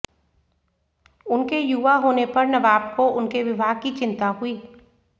उनके युवा होने पर नवाब को उनके विवाह की चिंता हुई